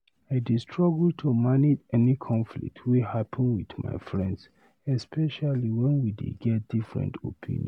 I dey struggle to manage any conflict wey happen with my friends, especially wen we dey get different opinion.